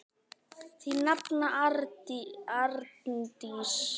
Þín nafna, Arndís.